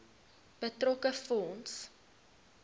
betrokke fonds